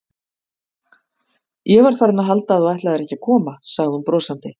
Ég var farin að halda að þú ætlaðir ekki að koma sagði hún brosandi.